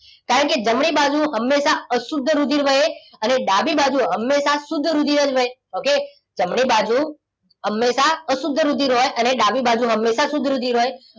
કારણ કે જમણી બાજુ હંમેશા અશુદ્ધ રુધિર વહે અને ડાબી બાજુ હંમેશા શુદ્ધ રુધિર જ વહે. okay જમણી બાજુ હંમેશા અશુદ્ધ રુધિર વહે અને ડાબી બાજુ હંમેશા શુદ્ધ રુધિર વહે.